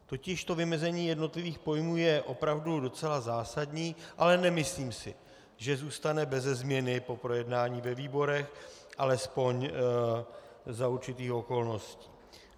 Totiž to vymezení jednotlivých pojmů je opravdu docela zásadní, ale nemyslím si, že zůstane beze změny po projednání ve výborech, alespoň za určitých okolností.